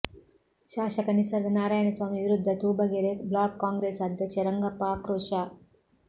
ಶಾಸಕ ನಿಸರ್ಗ ನಾರಾಯಣಸ್ವಾಮಿ ವಿರುದ್ಧ ತೂಬಗೆರೆ ಬ್ಲಾಕ್ ಕಾಂಗ್ರೆಸ್ ಅಧ್ಯಕ್ಷ ರಂಗಪ್ಪ ಆಕ್ರೋಶ